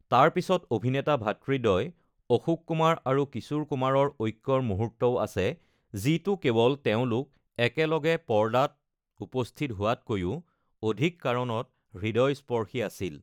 তাৰ পিছত অভিনেতা ভাতৃদ্বয় অশোক কুমাৰ আৰু কিশোৰ কুমাৰৰ ঐক্যৰ মুহূৰ্তও আছে, যিটো কেৱল তেওঁলোক একেলগে পৰ্দাত উপস্থিত হোৱাতকৈও অধিক কাৰণত হৃদয়স্পৰ্শী আছিল।